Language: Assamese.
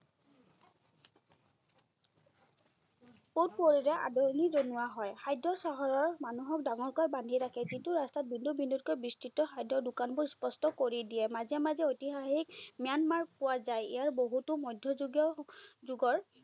সোঁশৰীৰৰে আদৰনি জনোৱা হয়। খাদ্য চহৰৰ মানুহক ডাঙৰকৈ বান্ধি ৰাখে, যিটো ৰাস্তাত বিন্দু বিন্দুকৈ বিস্তিত খাদ্যৰ দোকানবোৰ স্পষ্ট কৰি দিয়ে। মাজে মাজে ঐতিহাসীক ম্যানমাৰ পোৱা যায়। ইয়াৰ বহুতো মধ্যযুগীয় যুগৰ,